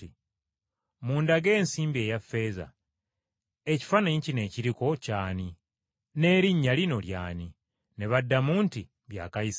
“Mundage ensimbi eya ffeeza. Ekifaananyi kino ekiriko ky’ani? N’erinnya lino ly’ani?” Ne baddamu nti, “Bya Kayisaali.”